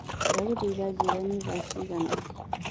ndagũthaĩtha njĩĩra ni thaa cĩĩgana